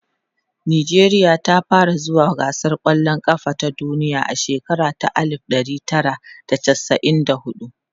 nijeriya ta fara zuwa gasar kwallan kafa ta duniya a shekara ta alif ɗari Tara da chasa'in da huɗu